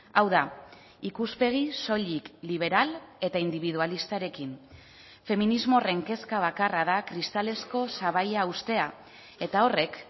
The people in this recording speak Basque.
hau da ikuspegi soilik liberal eta indibidualistarekin feminismo horren kezka bakarra da kristalezko sabaia uztea eta horrek